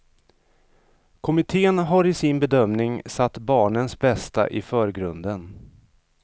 Kommitten har i sin bedömning satt barnens bästa i förgrunden.